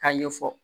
K'a ɲɛfɔ